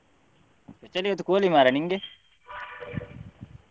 Special ಇವತ್ತು ಕೋಳಿ ಮಾರ್ರೆ ನಿಂಗೆ?